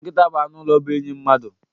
Nkita bụ anụ ụlọ bụ enyi mmadụ